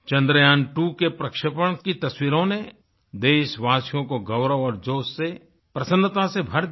Chandrayaantwoके प्रक्षेपण की तस्वीरों ने देशवासियों को गौरव और जोश से प्रसन्नता से भर दिया